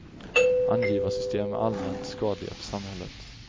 Angivarsystem är allmänt skadliga för samhället.